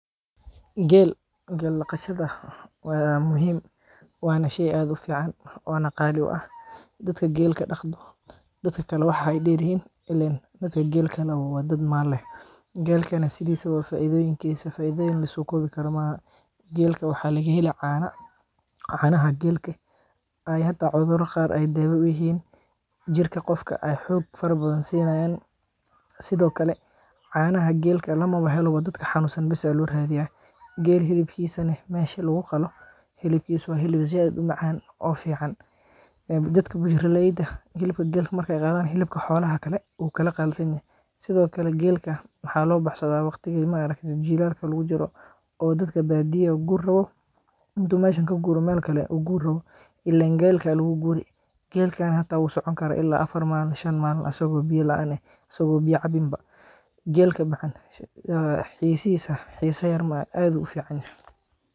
geelka laqashada waa muhiim waana shey aad ufiican oona qaali u ah dadka geela dhaqdo dadka kale waxa ay dheeryihiin ileen dadka geela leh waa dad maal leh geelkana sidiisaba faaidoyiinkiisa faaidooyin lasoo koobi karo ma ahan geelka waxaa laga heli caana caanaha geelka ayaa hada cudurada qaar ee daawo uyihiin, jirka qofka ayaa xoog farabadan siinayan sido kale caanaha geelka lamaba helaba dadka xanuunsan besa loo raadiya geel hilibkiisana meeshii lagu qalo hilibkiisa waa hilib saaid umacaan oo fiican ee dadka burshaleeda hilibka geela markee qalan hilibka xoolaha kale wuu kala qalaalisanyahay sido kale geelka waxaa loo baxsadaa waqtiga ma arakte jilaalka jiro oo dadka baadiyaha guuri rabo inta meesha ka guuro meel kale uguuri rabo ileen geelka lagu guuri geelka xata wuu socon karaa ilaa afar maalin shan maalin asagoo biyo la aan eh asagoo biya cabinba geelka macan ee xiisihiisa xiisa yar ma ahan aadu ufiicanyahay.